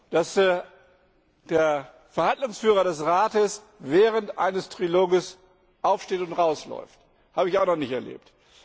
Dass der Verhandlungsführer des Rats während eines Trilogs aufsteht und rausläuft, habe ich auch noch nicht erlebt.